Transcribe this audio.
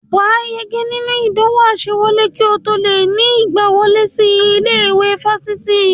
Wà á yege nínú ìdánwò àsewọlé kí o tó lè ní ìgbawọlé sí ilé-ẹ̀kọ́ fásitì